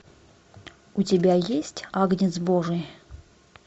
у тебя есть агнец божий